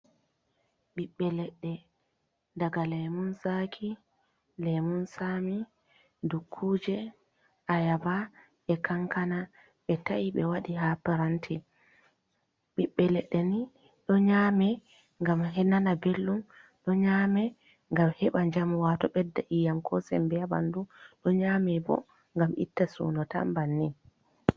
Ɓiɓbe leɗɗe daga lemun zaki, lemun Sami, dukkuje, ayaba e kankana, ɓe ta’i ɓe waɗi ha paranti ɓiɓɓe leɗɗe ni ɗo nyame ngam ɓenana bellɗum, ɗo nyame ngam heban jamwato ɓedda iyam ko sembe ha ɓandu, ɗo nyame bo gam itta suno tan banni.